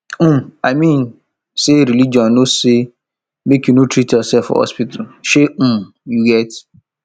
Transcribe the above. um i mean um say religion no say make you no treat yourself for hospital shey um you get